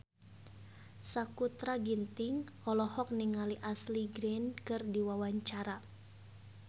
Sakutra Ginting olohok ningali Ashley Greene keur diwawancara